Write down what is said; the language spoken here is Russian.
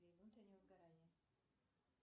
внутреннего сгорания